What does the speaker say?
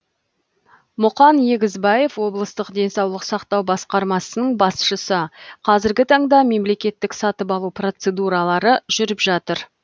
мұқан егізбаев облыстық денсаулық сақтау басқармасының басшысы қазіргі таңда мемлекеттік сатып алу процедуралары жүріп жатыр